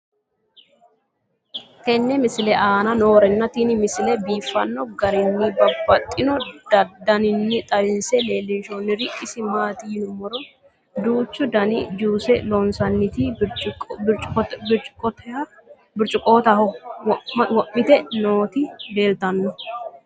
tenne misile aana noorina tini misile biiffanno garinni babaxxinno daniinni xawisse leelishanori isi maati yinummoro duuchu danni juusse loonsoonniti biricciqotaho wo'mitte nootti leelittanno.